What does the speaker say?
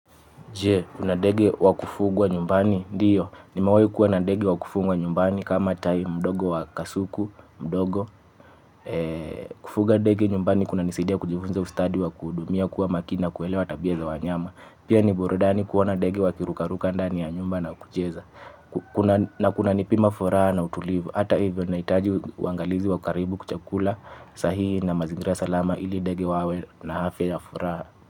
Je, kuna ndege wakufugwa nyumbani? Ndiyo. Nimewahi kuwa na ndege wa kufugwa nyumbani kama tai mdogo wa kasuku, mdogo. Kufuga ndege nyumbani kunanisaidia kujifunza ustadi wa kuhudumia, kuwa makini na kuelewa tabia za wanyama. Pia ni burudani kuona ndege wakirukaruka ndani ya nyumba na kucheza. Na kuna nipima furaha na utulivu. Ata hivyo, wanahitaji uangalizi wa karibu, chakula sahihi na mazingira sahihi ili ndege wawe na afya na furaha.